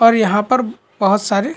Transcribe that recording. और यहाँ पर बहोत सारे--